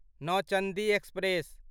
Nauchandi express